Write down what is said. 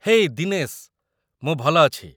ହେଇ ଦିନେଶ! ମୁଁ ଭଲ ଅଛି ।